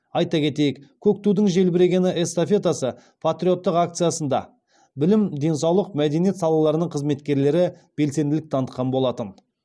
айта кетейік көк тудың желбірегені эстафетасы патриоттық акциясында білім денсаулық мәдениет салаларының қызметкерлері белсенділік танытқан болатын